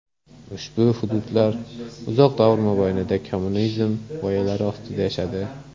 Ushbu hududlar uzoq davr mobaynida kommunizm g‘oyalari ostida yashadi.